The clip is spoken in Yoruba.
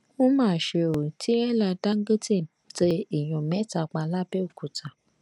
ó mà ṣe o tírẹ́là dáńgótẹ̀ tẹ èèyàn mẹ́ta pa lábẹ́òkúta